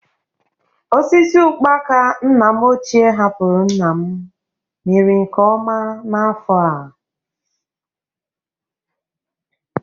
Osisi ụkpaka nna m ochie hapụrụ nna m mịrị nke ọma n'afọ a.